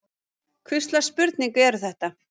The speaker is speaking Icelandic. Hvurslags spurningar eru þetta?